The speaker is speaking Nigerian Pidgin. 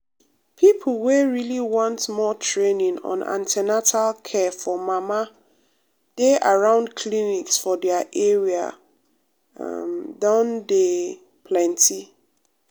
um people wey really want more training on an ten atal care for mama dey around clinics for their area um don dey um plenty.